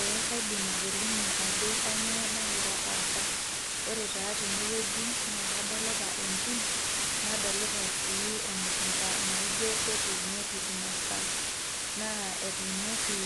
eee kaidim atolimu ajo kaniyioo nagira aasa. ore taa tene wueji naa kadolita entim nadolita sii emukunta naijo ketuunoki imasaa. etuunoki